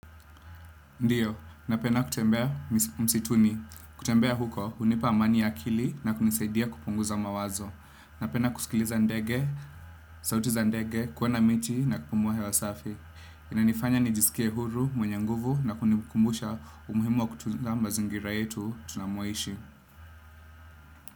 Ndiyo, napenda kutembea msituni. Kutembea huko, hunipa amani ya akili na kunisaidia kupunguza mawazo. Napenda kusikiliza ndege, sauti za ndege, kuona miti na kupumua hewa safi. Inanifanya nijisikie huru, mwenye nguvu na kunikumbusha umuhimu wa kutuza mazingira yetu tunamoishi.